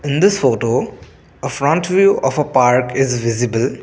in this photo a front view of a park is visible.